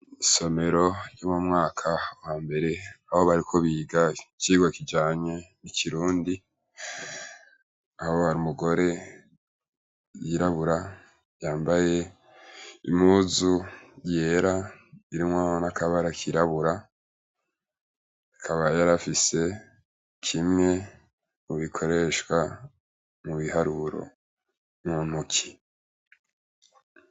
Isomero ryo mu mwaka wa mbere aho bariko biga icigwa kijanye n'Ikirundi; aho hari umugore yirabura yambaye impuzu yera irimwo n'akabara kirabura; akaba yari afise kimwe mu bikoreshwa mu biharuro muntoki